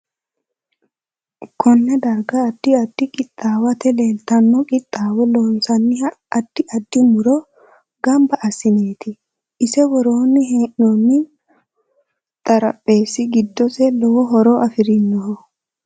Konne darga addi addi qiwaata leelitanno qiwaate loonsanihu addi addi muro ganba assineeti ise worre heenooni xarapheesi giddosi lowo horo afirinoho